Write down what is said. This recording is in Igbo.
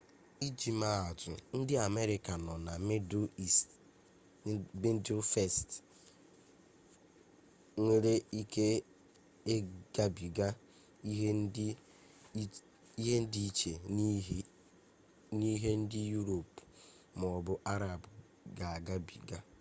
iji mee atụ ndị amerịka nọ na mịdụl ist nwere ike igabiga ihe dị iche n'ihe ndị yurop maọbụ arab ga-agabiga